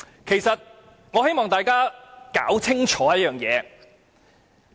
其實，我希望大家弄清楚一件事。